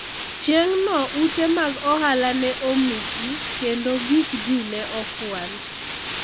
chieng' no ute mag ohala ne omuki kendo gik ji ne okwal